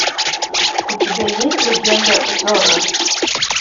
у тебя есть легенда зорро